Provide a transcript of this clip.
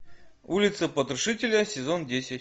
улица потрошителя сезон десять